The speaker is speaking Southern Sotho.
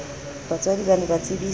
batswadi ba ne ba tsebiswe